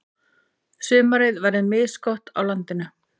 Sumarið verður misgott á landinu.